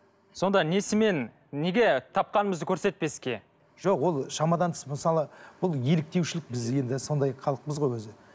сонда несімен неге тапқанымызды көрсетпеске жоқ ол шамадан тыс мысалы бұл еліктеушілік бізде енді сондай халықпыз ғой өзі